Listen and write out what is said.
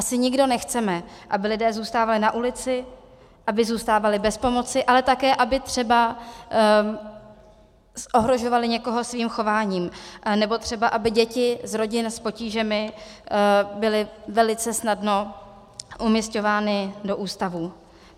Asi nikdo nechceme, aby lidé zůstávali na ulici, aby zůstávali bez pomoci, ale také aby třeba ohrožovali někoho svým chováním, nebo třeba aby děti z rodin s potížemi byly velice snadno umísťovány do ústavů.